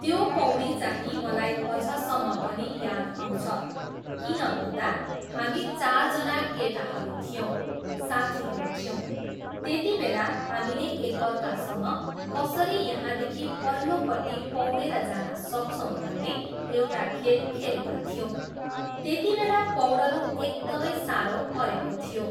त्यो पौडी चाहिँ मलाई अझसम्म पनि याद आउँछ किन भन्दा, हामी चारजना केटाहरू थियौँ, साथीहरू थियौँ, त्यतिबेला हामीले एकार्कासँग कसरी यहाँदेखि पल्लोपट्टि पौडेर जान सक्छौँ भन्ने एउटा खेल खेलेका थियौँ, त्यतिबेला पौडनु एकदमै साह्रो परेको थियो।